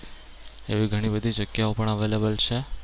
એવી ઘણી બધી જગ્યાઓ પણ available છે.